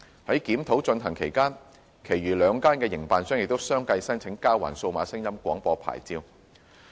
在檢討進行期間，其餘兩間營辦商也相繼申請交還數碼廣播牌照。